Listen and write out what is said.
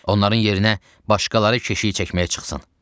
Onların yerinə başqaları keşik çəkməyə çıxsın.